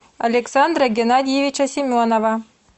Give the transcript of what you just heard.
александра геннадьевича семенова